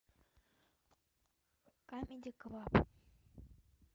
камеди клаб